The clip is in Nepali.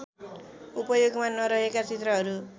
उपयोगमा नरहेका चित्रहरू